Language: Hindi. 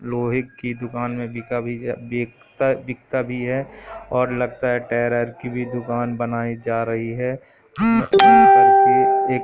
लोहे की दुकान में बिका भी बिकता भी है और लगता है टेरर की भी दुकान बनाई जा रही है करके एक--